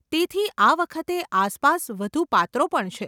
તેથી આ વખતે આસપાસ વધુ પાત્રો પણ છે.